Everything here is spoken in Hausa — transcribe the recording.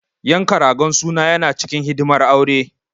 Yanka ragon suna yana cikin hidimar aure.